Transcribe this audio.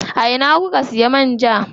A ina kuka siya man ja?